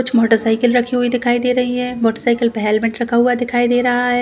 कुछ मोटरसाइकिल रखी हुई है दिखाई दे रही है मोटरसाइकिल पे हेलमेट रखा हुआ दिखाई दे रहा हैं ।